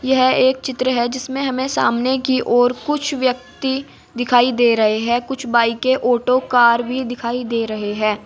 यह एक चित्र है जिसमें हमें सामने की ओर कुछ व्यक्ति दिखाई दे रहे हैं कुछ बाइके ऑटो कार भी दिखाई दे रहे हैं।